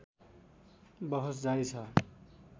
बहस जारी छ